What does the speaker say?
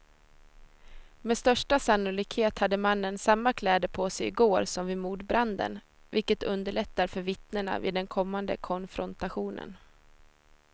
Med största sannolikhet hade mannen samma kläder på sig i går som vid mordbranden, vilket underlättar för vittnena vid den kommande konfrontationen.